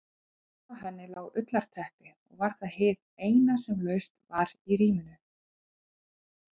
Ofan á henni lá ullarteppi og var það hið eina sem laust var í rýminu.